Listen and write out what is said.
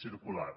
circular